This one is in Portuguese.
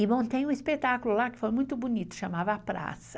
E, montei um espetáculo lá que foi muito bonito, chamava A Praça.